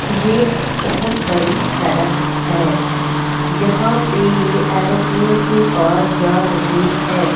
यह बहोत बड़ी सड़क है यहाँ पर यह एरोप्लेन के पास जा रहे है।